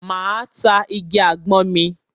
Máa ta igi àgbọn mi.